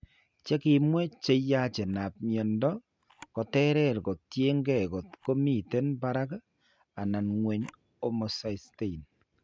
Che kimwee che yachenap miendo koterer ko tiyekeey kot ko miten parak anan ng'weny homocysteine.